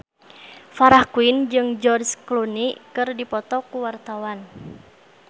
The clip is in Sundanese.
Farah Quinn jeung George Clooney keur dipoto ku wartawan